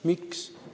Miks?